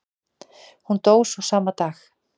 Hún dó svo sama dag.